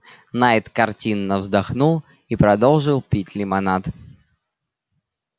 найд картинно вздохнул и продолжил пить лимонад